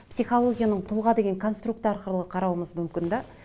психологияның тұлға деген конструкт арқылы қарауымыз мүмкін де